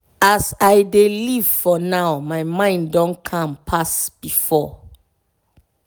as i dey live for now my mind don calm pass before.